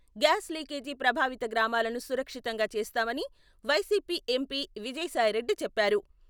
Gas leakage ప్రభావిత గ్రామాలను సురక్షితంగా చేస్తామని వైసీపీ ఎంపీ విజయసాయిరెడ్డి చెప్పారు.